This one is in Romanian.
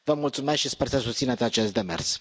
Vă mulțumesc și sper să susțineți acest demers.